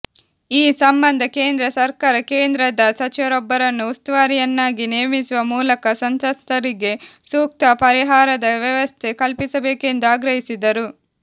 ಈ ಸಂಬಂಧ ಕೇಂದ್ರ ಸರ್ಕಾರ ಕೇಂದ್ರದ ಸಚಿವರೊಬ್ಬರನ್ನು ಉಸ್ತುವಾರಿಯನ್ನಾಗಿ ನೇಮಿಸುವ ಮೂಲಕ ಸಂತ್ರಸ್ತರಿಗೆ ಸೂಕ್ತ ಪರಿಹಾರದ ವ್ಯವಸ್ಥೆ ಕಲ್ಪಿಸಬೇಕೆಂದು ಆಗ್ರಹಿಸಿದರು